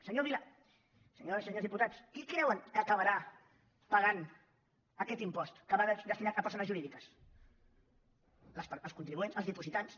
senyor vila senyores i senyors diputats qui creuen que acabarà pagant aquest impost que va destinat a persones jurídiques els contribuents els dipositants